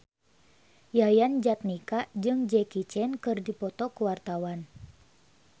Yayan Jatnika jeung Jackie Chan keur dipoto ku wartawan